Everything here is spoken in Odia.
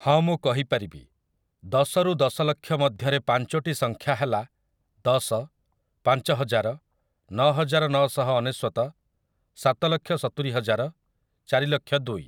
ହଁ ମୁଁ କହିପାରିବି, ଦଶରୁ ଦଶଲକ୍ଷ ମଧ୍ୟରେ ପଞ୍ଚୋଟି ସଂଖ୍ୟା ହେଲା, ଦଶ, ପାଞ୍ଚ ହଜାର, ନଅ ହଜାର ନଅ ଶହ ଅନେଶ୍ୱତ, ସାତ ଲକ୍ଷ ସତୁରି ହଜାର, ଚାରି ଲକ୍ଷ ଦୁଇ ।